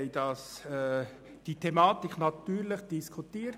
Natürlich haben wir die Thematik in der GSoK diskutiert.